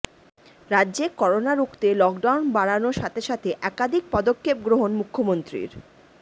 রাজ্যে করোনা রুখতে লকডাউন বাড়ানোর সাথে সাথে একাধিক পদক্ষেপ গ্রহণ মুখ্যমন্ত্রীর